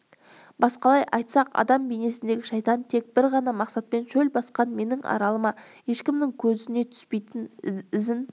басқалай айтсақ адам бейнесіндегі шайтан тек бір ғана мақсатпен шөл басқан менің аралыма ешкімнің көзіне түспей ізін